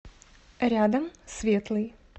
рядом светлый